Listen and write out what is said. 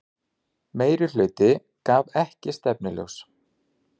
Meirihluti gaf ekki stefnuljós